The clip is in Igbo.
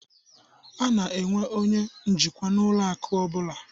A na-enwe onye njikwa n'ụlọ akụ ọbụla